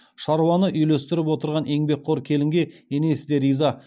шаруаны үйлестіріп отырған еңбекқор келінге енесі де риза